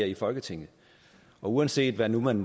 i folketinget og uanset hvad man